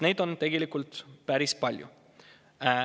Neid on tegelikult päris palju.